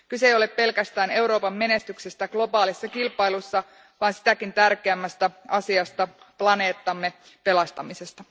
Kyse ei ole pelkästään Euroopan menestyksestä globaalissa kilpailussa, vaan sitäkin tärkeämmästä asiasta planeettamme pelastamisesta.